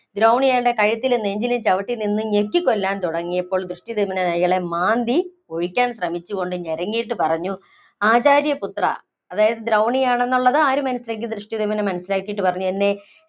ദ്രൗണി അയാളുടെ കഴുത്തിലും നെഞ്ചിലും ചവിട്ടി നിന്ന് ഞെക്കികൊല്ലാന്‍ തുടങ്ങിയപ്പോള്‍ ദൃഷ്ടധ്യുമ്നൻ അയാളെ മാന്തി ഒഴിക്കാന്‍ ശ്രമിച്ചുകൊണ്ട് ഞെരങ്ങിയിട്ട് പറഞ്ഞു. ആചാര്യ പുത്രാ, അതായത് ദ്രൗണി ആണെന്നുള്ളത് ആര് മനസ്സിലാക്കി ദൃഷ്ടധ്യുമ്നൻ മനസ്സിലാക്കിയിട്ട് പറഞ്ഞു. എന്നെ